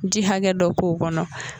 Ji hakɛ dɔ k'o kɔnɔ